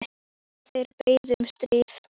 Ekki höfðu þeir beðið um stríðið.